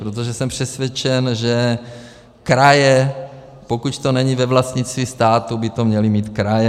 Protože jsem přesvědčen, že kraje, pokud to není ve vlastnictví státu, by to měly mít kraje.